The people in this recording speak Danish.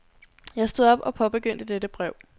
Jeg stod op og påbegyndte dette brev.